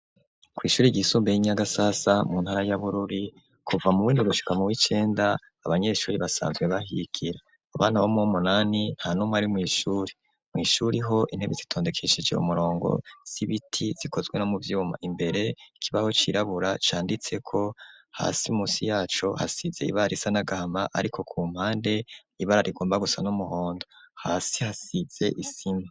Kwishuri ryisumbuye Nyagasasa mu ntara ya Bururi kuva muwindwi gushika mu w'icenda abanyeshuri basanzwe bahikira abana bomwe 'umunani ntanumwe ari mwishuri .Mwishuri ho intebe zitondekeshije umurongo zibiti zikozwe mu vyuma imbere kibaho cirabura canditse ko hasi musi yacobhasize ibara isa nagahama ariko ku mpande ibara rigomba gusa n'umuhondo hasi hasize isima.